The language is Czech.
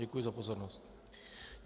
Děkuji za pozornost.